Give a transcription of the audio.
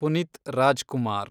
Puneeth Rajkumar